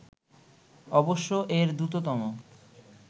অবশ্য এর দ্রুততম